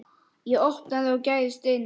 Ég opnaði og gægðist inn.